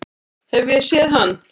Hef ég séð hann?